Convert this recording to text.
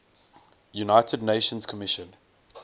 united nations commission